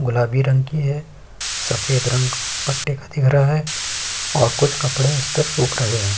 गुलाबी रंग की है। सफ़ेद रंग पट्टी का दिख रहा है और कुछ कपड़े इस पर सूख रहे हैं।